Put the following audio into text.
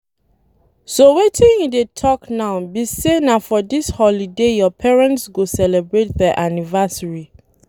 So wetin you dey talk now be say na for dis holiday your parents go celebrate their anniversary.